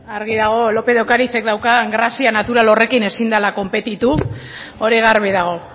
argi dago lópez de ocarizek daukan grazia natural horrekin ezin dela konpetitu hori garbi dago